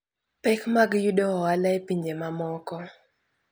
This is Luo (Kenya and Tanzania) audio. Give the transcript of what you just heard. Pek mag yudo ohala e pinje mamoko.